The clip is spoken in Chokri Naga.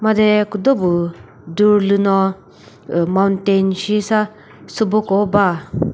de küdo püh dur lüno uh mountain shi sa sübo ko ba.